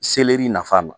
Seleri nafan ma